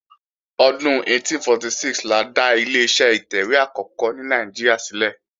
Ọdún 1846 la dá Ileṣẹ́ ìtẹ̀wé àkọ́kọ́ ní Nàìjíríà ṣílẹ̀